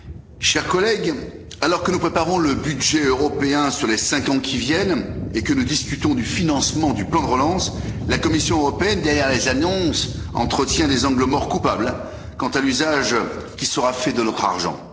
Monsieur le Président, chers collègues, alors que nous préparons le budget européen sur les cinq ans qui viennent et que nous discutons du financement du plan de relance, la Commission européenne, derrière les annonces, entretient des angles morts coupables quant à l'usage qui sera fait de notre argent.